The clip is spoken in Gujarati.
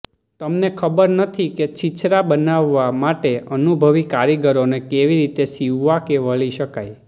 તમને ખબર નથી કે છીછરા બનાવવા માટે અનુભવી કારીગરોને કેવી રીતે સીવવા કે વળી શકાય